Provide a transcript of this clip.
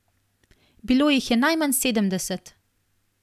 Bilo jih je najmanj sedemdeset!